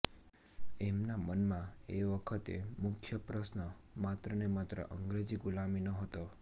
એમના મનમાં એ વખતે મુખ્ય પ્રશ્ન માત્ર ને માત્ર અંગ્રેજી ગુલામીનો હતો